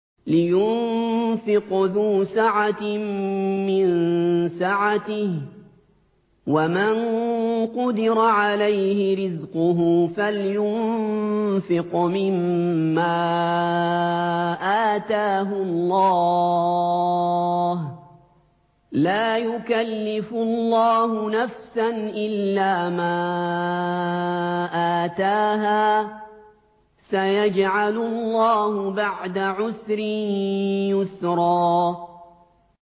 لِيُنفِقْ ذُو سَعَةٍ مِّن سَعَتِهِ ۖ وَمَن قُدِرَ عَلَيْهِ رِزْقُهُ فَلْيُنفِقْ مِمَّا آتَاهُ اللَّهُ ۚ لَا يُكَلِّفُ اللَّهُ نَفْسًا إِلَّا مَا آتَاهَا ۚ سَيَجْعَلُ اللَّهُ بَعْدَ عُسْرٍ يُسْرًا